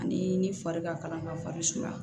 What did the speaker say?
Ani ni fari ka kalan ka fari sumaya